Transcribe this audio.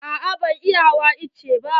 A'a ban iya hawa itace ba.